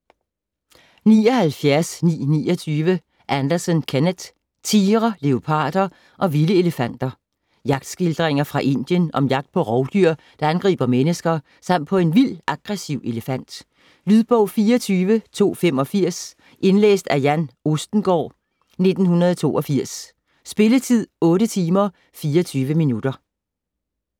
79.929 Anderson, Kenneth: Tigre, leoparder og vilde elefanter Jagtskildringer fra Indien om jagt på rovdyr, der angriber mennesker, samt på en vild, aggressiv elefant. Lydbog 24285 Indlæst af Jan Østengaard, 1982. Spilletid: 8 timer, 24 minutter.